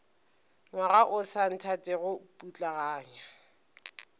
ngwaga o sa nthatego putlaganya